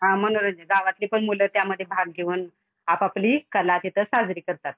हा मनोरंजन. गावातली पण मुलं त्यामधी भाग घेऊन आप आपली कला तिथं साजरी करतात.